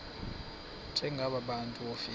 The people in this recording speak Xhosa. njengaba bantu wofika